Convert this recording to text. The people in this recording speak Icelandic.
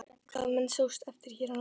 Hvað hafa menn sóst eftir hér á landi?